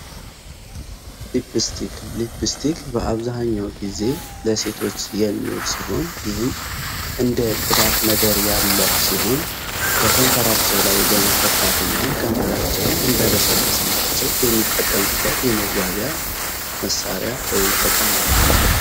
ሊፒስቲክ በአብዛኛው ጊዜ ለሴቶች የሚዉል ሲሆን ይሄም እንደ ቅባት ነገር ያለ ሲሆን በከንፈራቸው ላይ በመቀባት እና ከንፈራቸውን እንዲያለሰልስላቸው የሚጠቀሙት የመዋቢያ መሳሪያ ወይም እቃ ነው።